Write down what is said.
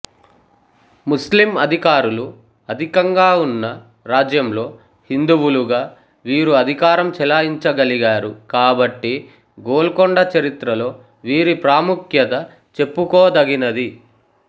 ముస్లిం అధికారులు అధికంగా ఉన్న రాజ్యంలో హిందువులుగా వీరు అధికారం చలాయించగలిగారు కాబట్టి గోల్కొండ చరిత్రలో వీరి ప్రాముఖ్యత చెప్పుకోదగినది